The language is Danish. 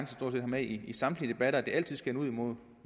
med i samtlige debatter nemlig at det altid skal munde